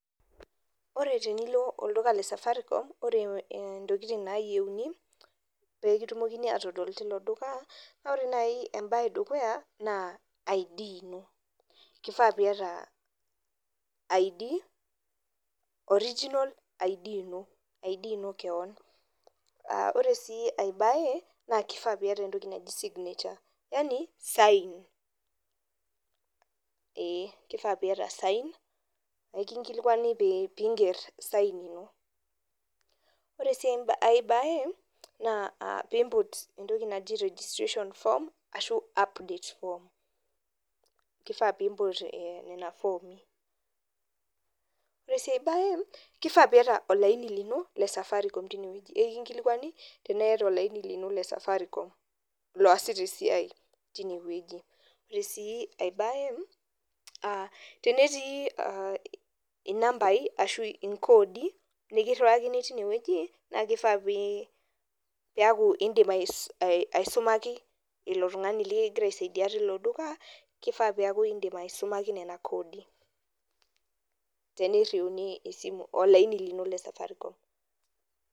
koreee tenilo oldukla lee safaricom oree intokiting nayieuni peee kitumokini atodol tii lo duka kifaaa pii yata original id koree enkae toki kifaaa pii ya sign yaaani signature.. koreee enkae kifaaa mpiiput registration form arasho update form kifaaa siii piya olaaini lino lee safaricom tinewuejii koreee sii enkae ekiriwakiii kodiii niaku idim aisumaki ilo tungani tee niriuni ilo aini lino lee safaricom.